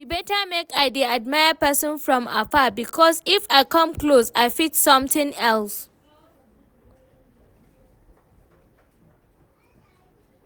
E better make I dey admire person from afar because if I come close I fit something else